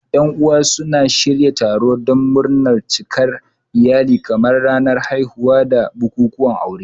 Yan uwa suna shirya taro don murnar cikar iyali kamar ranar haihuwa da bukukuwan aure.